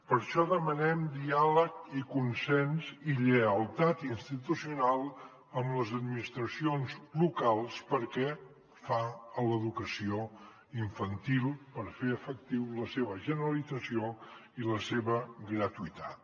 per això demanem diàleg i consens i lleialtat institucional amb les administracions locals pel que fa a l’educació infantil per fer efectiva la seva generalització i la seva gratuïtat